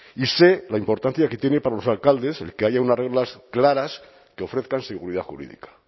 y sé la importancia que tiene para los alcaldes el que haya unas reglas claras que ofrezcan seguridad jurídica